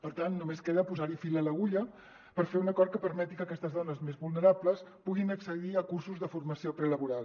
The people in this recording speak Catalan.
per tant només queda posar fil a l’agulla per fer un acord que permeti que aques·tes dones més vulnerables puguin accedir a cursos de formació prelaboral